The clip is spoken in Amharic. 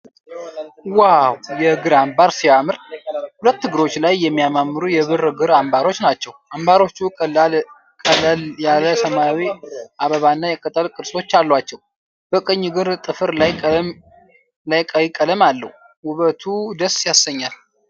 ዋው! የእግር አምባር ሲያምር! ሁለት እግሮች ላይ የሚያማምሩ የብር እግር አምባሮች ናቸው። አምባሮቹ ቀለል ያለ ሰማያዊ አበባና የቅጠል ቅርጾች አሏቸው። በቀኝ እግር ጥፍር ላይ ቀይ ቀለም አለው። ውበቱ ደስ ያሰኛል።